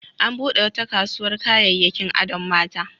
An buɗe wata kasuwar kayayyakin adon mata.